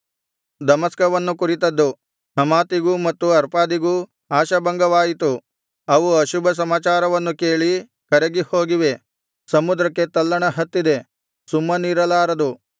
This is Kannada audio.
ದಮಸ್ಕವನ್ನು ಕುರಿತದ್ದು ಹಮಾತಿಗೂ ಮತ್ತು ಅರ್ಪಾದಿಗೂ ಆಶಾಭಂಗವಾಯಿತು ಅವು ಅಶುಭ ಸಮಾಚಾರವನ್ನು ಕೇಳಿ ಕರಗಿ ಹೋಗಿವೆ ಸಮುದ್ರಕ್ಕೆ ತಲ್ಲಣ ಹತ್ತಿದೆ ಸುಮ್ಮನಿರಲಾರದು